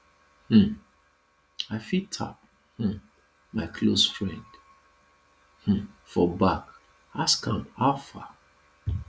um i fit tap um my close friend um for back ask am how far